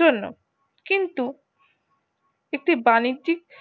জন্য কিন্তু কিছু একটি বাণিজ্যিক